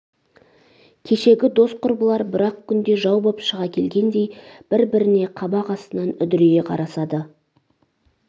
кешегі дос құрбылар бір-ақ күнде жау боп шыға келгендей бір-біріне қабақ астынан үдірейе қарасады